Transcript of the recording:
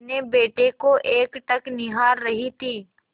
अपने बेटे को एकटक निहार रही थी